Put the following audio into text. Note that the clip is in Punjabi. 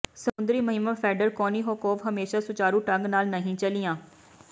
ਸਮੁੰਦਰੀ ਮੁਹਿੰਮਾਂ ਫੈਡਰ ਕੋਨੀਹੋਕੋਵ ਹਮੇਸ਼ਾ ਸੁਚਾਰੂ ਢੰਗ ਨਾਲ ਨਹੀਂ ਚਲੀਆਂ